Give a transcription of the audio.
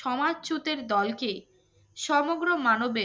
সমাজচ্যুতের দলকে সমগ্র মানবে